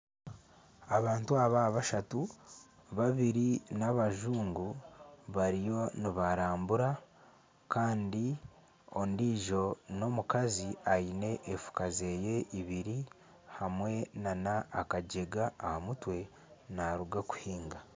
Abantu aba bashatu babiri n'abajungu bariyo nibarambura kandi ondiijo n'omukazi aine efuka zeye ibiri hamwe nana akajega aha mutwe naruga kuhinga.